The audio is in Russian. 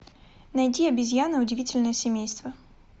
найди обезьяны удивительное семейство